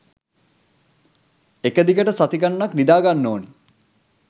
එක දිගට සති ගනනක් නිඳාගන්න ඕන.